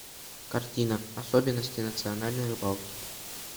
картина особенности национальной рыбалки